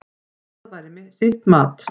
Það væri sitt mat.